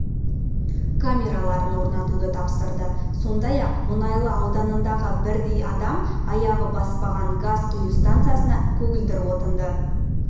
камераларын орнатуды тапсырды сондай-ақ мұнайлы ауданындағы бірдей адам аяғы баспаған газ құю станциясына көгілдір отынды